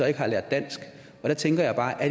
ikke har lært dansk og der tænker jeg bare